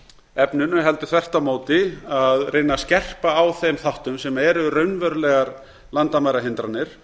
efninu heldur þvert á móti að reyna að skerpa á þeim þáttum sem eru raunverulegar landamærahindranir